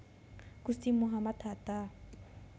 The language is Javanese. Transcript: Gusti Muhammad Hatta